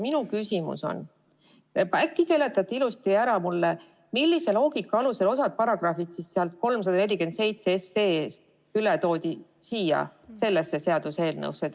Minu küsimus on, et äkki te seletate mulle ilusasti ära, millise loogika alusel osa paragrahve eelnõust 347 sellesse seaduseelnõusse üle toodi.